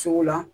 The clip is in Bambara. Sugu la